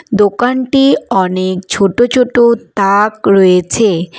দোকানটি অনেক ছোট ছোট তাক রয়েছে।